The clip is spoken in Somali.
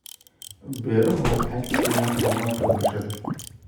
Beeruhu waxay kiciyaan horumarka bulshada.